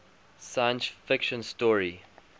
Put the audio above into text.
science fiction story